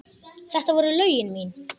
Þetta voru lögin mín.